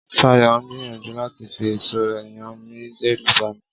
Ṣayọ̀ ń gbìyànjú láti fi ẹ̀ṣọ́ rẹ̀ yàn mí dẹ́rùbà mí.